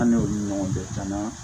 An ni olu ɲɔgɔn bɛɛ caman